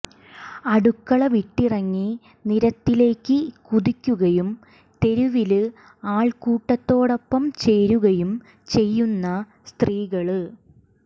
അടുക്കള വിട്ടിറങ്ങി നിരത്തിലേക്ക് കുതിക്കുകയും തെരുവില് ആള്ക്കൂട്ടത്തോടൊപ്പം ചേരുകയും ചെയ്യുന്ന സ്ത്രീകള്